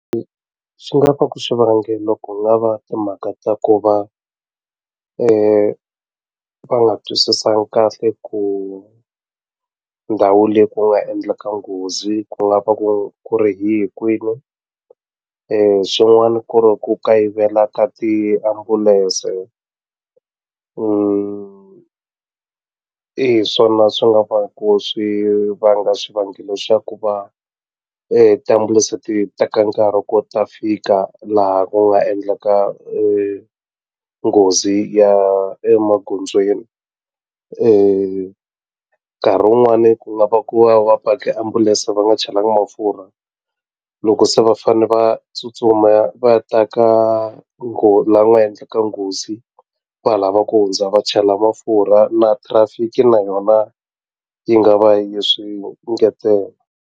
Swi nga va ku xivangelo ku nga va timhaka ta ku va va nga twisisangi kahle ku ndhawu leyi ku nga endleka nghozi ku nga va ku ri hi kwihi swin'wani ku ri ku kayivela ka tiambulense hi swona swi nga va ku swi vanga xivangelo xa ku va tiambulense ti teka nkarhi ku ta fika laha ku nga endlaka nghozi ya emagondzweni nkarhi wun'wani ku nga va ku va va pake ambulense va nga chelangi mafurha loko se va fane va tsutsuma va ta ka la ku nga endleka nghozi va ha lava ku hundza va chela mafurha na traffic na yona yi nga va yi swi engetela.